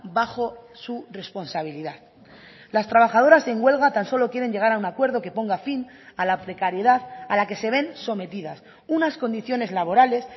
bajo su responsabilidad las trabajadoras en huelga tan solo quieren llegar a un acuerdo que ponga fin a la precariedad a la que se ven sometidas unas condiciones laborales